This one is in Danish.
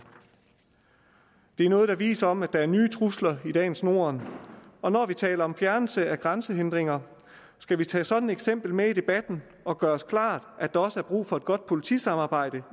det er noget der viser noget om at der er nye trusler i dagens norden og når vi taler om fjernelse af grænsehindringer skal vi tage sådan et eksempel med i debatten og gøre os klart at der også er brug for et godt politisamarbejde